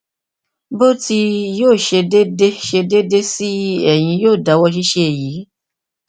bi o ti yoo ṣe deede ṣe deede si eyin yoo dawọ ṣiṣe eyi